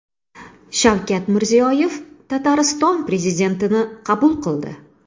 Shavkat Mirziyoyev Tatariston prezidentini qabul qildi.